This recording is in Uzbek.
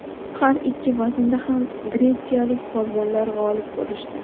Har ikki vaznda ham gretsiyalik polvonlar g‘olib bo‘lishdi.